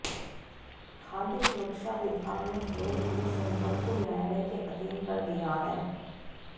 खाद्य सुरक्षा विभाग ने फेल हुए सैंपल को न्यायालय के अधीन कर दिया है